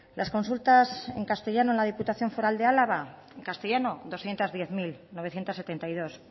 las consultas en castellano en la diputación foral de álava en castellano doscientos diez mil novecientos setenta y dos